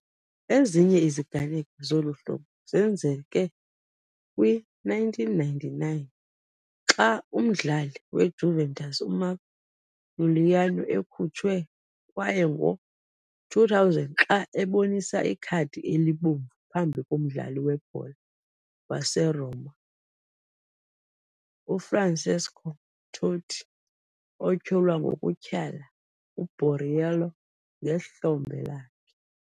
Ezinye iziganeko zolu hlobo zenzeke kwi-1999, xa umdlali weJuventus uMark Iuliano ekhutshwe, kwaye ngo -2000, xa ebonisa ikhadi elibomvu phambi komdlali webhola waseRoma uFrancesco Totti, otyholwa ngokutyhala uBorriello ngehlombe lakhe.